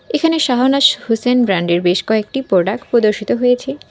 এখানে সাহানাস হোসেন ব্র্যান্ড -এর বেশ কয়েকটি প্রোডাক্ট প্রদর্শিত হয়েছে।